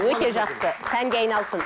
өте жақсы сәнге айналсын